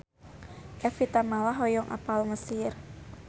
Evie Tamala hoyong apal Mesir